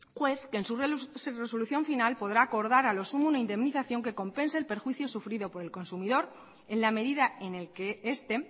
juez que en su resolución final podrá acordar a lo sumo una indemnización que compense el perjuicio sufrido por el consumidor en la medida en el que este